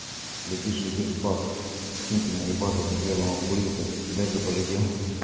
летишь летишь бах синьки наебашился следом обкурился дальше полетел